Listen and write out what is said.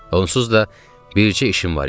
Onsuz da bircə işim var idi.